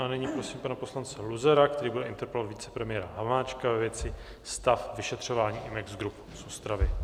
A nyní prosím pana poslance Luzara, který bude interpelovat vicepremiéra Hamáčka ve věci stav vyšetřování Imex Group z Ostravy.